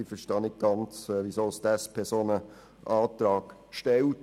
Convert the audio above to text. Ich verstehe nicht ganz, weshalb die SP einen solchen Antrag stellt.